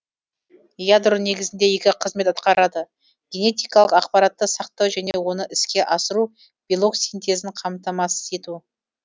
ядро негізінде екі қызмет аткарады генетикалық ақпаратты сақтау және оны іске асыру белок синтезін қамтамасыз ету